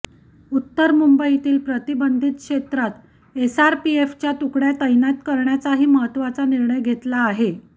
उत्तर मुंबईतील प्रतिबंधित क्षेत्रात एसआरपीएफच्या तुकड्या तैनात करण्याचाही महत्त्वाचा निर्णय घेतला आहे